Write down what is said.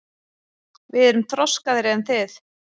Við erum þroskaðri en þið.